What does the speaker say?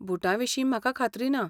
बूटां विशीं म्हाका खात्री ना.